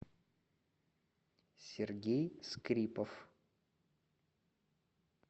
сергей скрипов